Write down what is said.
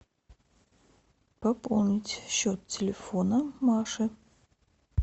пополнить счет телефона маши